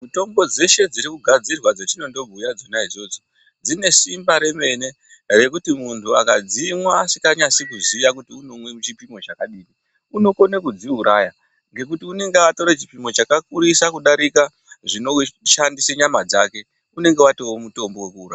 Mitombo dzeshe dziri kugadzinogadzirwa dzetinondobhuya dzona idzodzo, dzine simba remene, rekuti muntu akadzimwa asikanyasi kuziya kuti unomwe chipimo chakadini ,unokone kudziuraya ,ngekuti unenge atore chipimo chakakurisa kudarika zvinowishandise nyama dzake, unenge watoo mutombo wekuuraya.